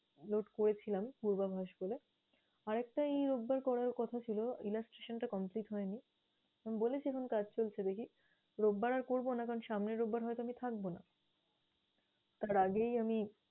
note করেছিলাম পূর্বাভাস বলে। আরেকটা এই রোববার করার কথা ছিল, illustration টা complete হয়নি। আমি বলেছি, এখন কাজ চলছে দেখি। রোববার আর করবো না কারণ সামনের রোববার হয়তো আমি থাকব না। তার আগেই আমি